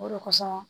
O de kosɔn